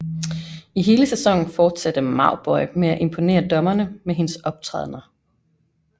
I hele sæsonen fortsatte Mauboy med at imponere dommerne med hendes optrædner